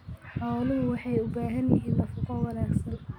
Xooluhu waxay u baahan yihiin nafaqo wanaagsan.